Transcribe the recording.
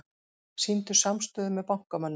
Sýndu samstöðu með bankamönnum